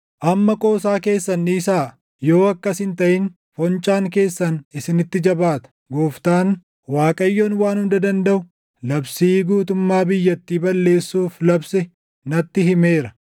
Amma qoosaa keessan dhiisaa; yoo akkas hin taʼin foncaan keessan isinitti jabaata; Gooftaan, Waaqayyoon Waan Hunda Dandaʼu, labsii guutummaa biyyattii balleessuuf labse natti himeera.